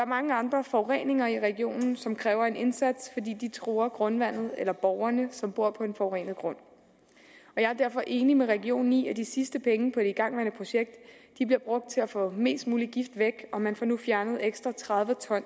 mange andre forureninger i regionen som kræver en indsats fordi de truer grundvandet eller borgerne som bor på en forurenet grund jeg er derfor enig med regionen i at de sidste penge på det igangværende projekt bliver brugt til at få mest muligt gift væk og man får nu fjernet ekstra tredive